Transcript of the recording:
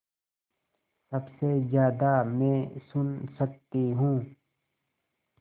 सबसे ज़्यादा मैं सुन सकती हूँ